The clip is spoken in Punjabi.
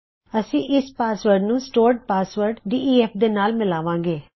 ਅਸੀ ਇਸ ਪਾਸਵਰਡ ਨੂੰ ਸਟੋਰਡ ਪਾਸਵਰਡ ਡੇਫ ਦੇ ਨਾਲ ਮਿਲਾਵਾਂ ਗੇ